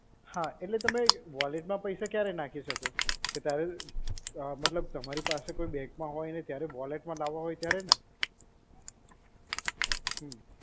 હા, એટલે તમે વોલેટમાં પૈસા ક્યારે નાખી શકો? કે જ્યારે મતલબ તમારી પાસે કોઈ બેંકમાં હોય ને ત્યારે વોલેટમાં લાવવા હોય ત્યારે ને? હમ્મ.